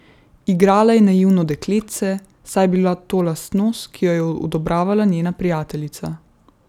Igrala je naivno dekletce, saj je bila to lastnost, ki jo je odobravala njena prijateljica.